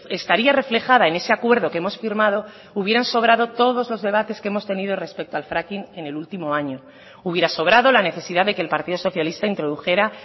estaría reflejada en ese acuerdo que hemos firmado hubieran sobrado todos los debates que hemos tenido respecto al fracking en el último año hubiera sobrado la necesidad de que el partido socialista introdujera